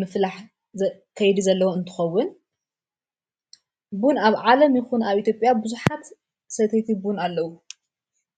ምፍላሕ ኸይዱ ዘለዉ እንትኸውን ቡን ኣብ ዓለም ይኹኑ ኣብ ኤቲጴያ ብዙኃት ሰተይቲ ቡን ኣለዉ::